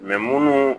munnu